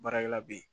Baarakɛla be ye